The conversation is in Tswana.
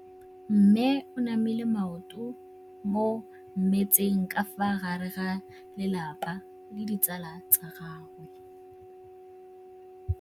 Mme o namile maoto mo mmetseng ka fa gare ga lelapa le ditsala tsa gagwe.